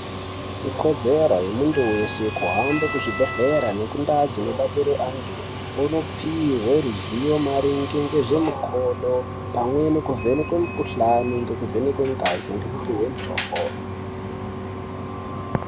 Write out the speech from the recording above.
Ikodzero yemuntu weshe kuhambe kuzvibhehlera nekundau antu unopuhwe ruzivo maringe ngezvemukodo pamwe nekuvhenekwa mukuhlani nekuvhenekwe ngazi ngekupuhwe mutombo .